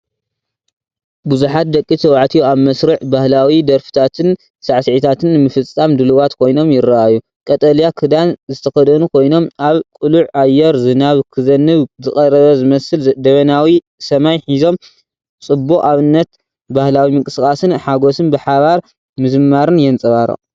ብዙሓት ደቂ ተባዕትዮ ኣብ መስርዕ ፣ባህላዊ ደርፍታትን ሳዕስዒታትን ንምፍጻም ድሉዋት ኮይኖም ይረኣዩ። ቀጠልያ ክዳን ዝተኸድኑ ኮይኖም፡ ኣብ ቅሉዕ ኣየር ፣ ዝናብ ክዘንብ ዝቐረበ ዝመስል ደበናዊ ሰማይ ሒዞም። ጽቡቕ ኣብነት ባህላዊ ምንቅስቓስን ሓጎስን ብሓባር ምዝማርን የንፀባርቕ።